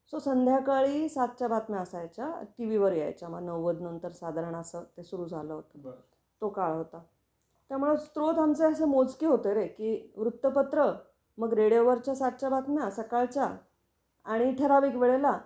So संध्याकाळी सातच्या बातम्यां असायच्या टीव्ही वर यायच्या. मग नव्वद नंतर साधारण असं ते सुरू झालं होतं, तो काळ होता. त्यामुळे स्रोत आमचे असे मोजके होते रे की वृत्तपत्र, मग रेडिओवर च्या सातच्या बातम्या सकाळच्या आणि ठराविक वेळेला